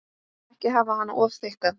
Ekki hafa hana of þykka.